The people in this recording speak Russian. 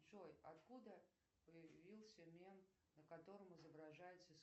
джой откуда появился мем на котором изображается